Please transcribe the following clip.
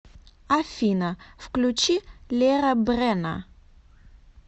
афина включи лера брэна